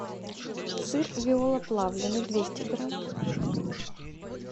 сыр виола плавленный двести грамм